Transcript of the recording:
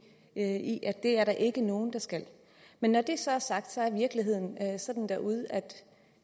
i at det er der ikke nogen der skal men når det så er sagt er virkeligheden sådan derude at